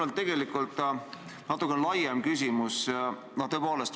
Mul on tegelikult natukene laiem küsimus.